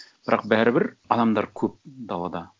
бірақ бәрібір адамдар көп далада